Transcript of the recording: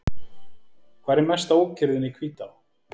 Hvar er mesta ókyrrðin í Hvítá?